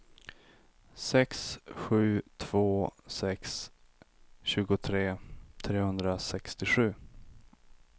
sex sju två sex tjugotre trehundrasextiosju